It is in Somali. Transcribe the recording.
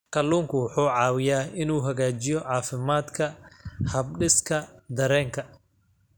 Kalluunku wuxuu caawiyaa inuu hagaajiyo caafimaadka habdhiska dareenka.